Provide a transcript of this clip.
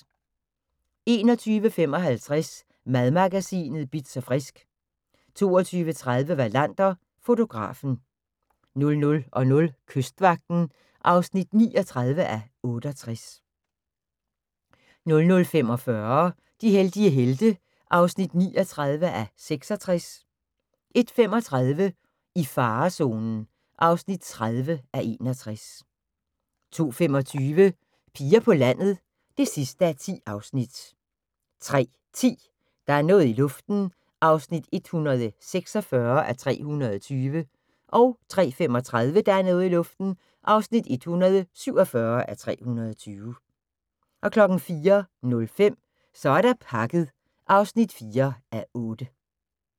21:55: Madmagasinet Bitz & Frisk 22:30: Wallander: Fotografen 00:00: Kystvagten (39:68) 00:45: De heldige helte (39:66) 01:35: I farezonen (30:61) 02:25: Piger på landet (10:10) 03:10: Der er noget i luften (146:320) 03:35: Der er noget i luften (147:320) 04:05: Så er der pakket (4:8)